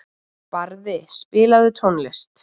Barði, spilaðu tónlist.